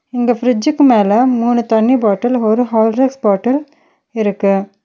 இங்க ஃபிரிட்ஜ்க்கு மேல மூணு தண்ணி பாட்டில் ஒரு ஹார்லிக்ஸ் பாட்டில் இருக்கு.